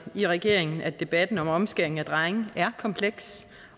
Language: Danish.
i regeringen at debatten om omskæring af drenge er kompleks